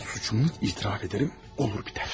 Suçumu etiraf edərəm, olar bitər.